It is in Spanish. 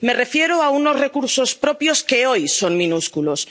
Me refiero a unos recursos propios que hoy son minúsculos.